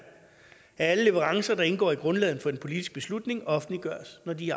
at alle leverancer der indgår i grundlaget for den politiske beslutning offentliggøres når de